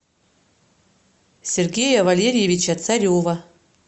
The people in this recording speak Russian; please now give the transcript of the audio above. сергея валериевича царева